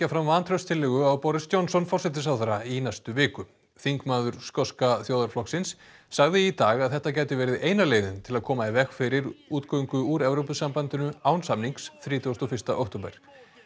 fram vantrauststillögu á Boris Johnson forsætisráðherra í næstu viku þingmaður skoska þjóðarflokksins sagði í dag að þetta gæti verið eina leiðin til að koma í veg fyrir útgöngu úr Evrópusambandinu án samnings þrítugasta og fyrsta október